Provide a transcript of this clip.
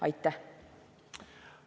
Aitäh!